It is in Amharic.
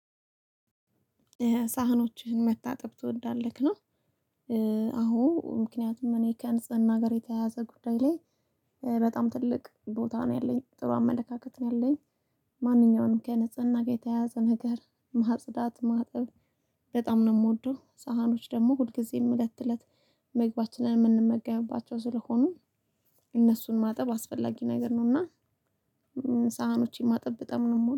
ሳህኖችህን ማጠብ ትወዳለህ ነው? አዎ ምክንያቱም እኔ ከንጽህና ጋር የተያያዘ ጉዳይ ላይ በጣም ትልቅ ቦታ ነው ያለኝ ጥሩ አመለካከት ነው ያለኝ። ማንኛውንም ከንፅህና ጋር የተያዘ ነገር ማጽዳት ማጠብ በጣም ነው የምወደው። ሳህኖች ደግሞ ሁልጊዜም እለተ እለት ምግባችንን የምንመገብባቸው ስለሆኑ እነሱን ማጠብ አስፈላጊ ነገር ነው። እና ሳህኖቼን ማጠብ በጣም ነው የምወደው